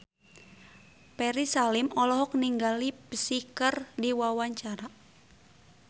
Ferry Salim olohok ningali Psy keur diwawancara